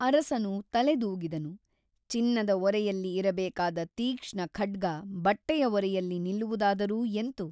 ಅರಸನು ತಲೆದೂಗಿದನು ಚಿನ್ನದ ಒರೆಯಲ್ಲಿ ಇರಬೇಕಾದ ತೀಕ್ಷ್ಣಖಡ್ಗ ಬಟ್ಟೆಯ ಒರೆಯಲ್ಲಿ ನಿಲ್ಲುವುದಾದರೂ ಎಂತು ?